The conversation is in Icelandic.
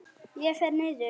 Ég fer niður.